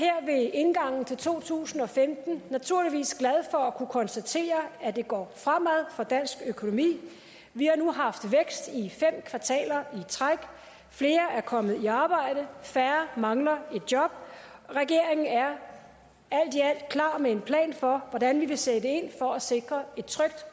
indgangen til to tusind og femten naturligvis glad for at kunne konstatere at det går fremad for dansk økonomi vi har nu haft vækst i fem kvartaler i træk flere er kommet i arbejde færre mangler et job regeringen er alt i alt klar med en plan for hvordan vi vil sætte ind for at sikre et trygt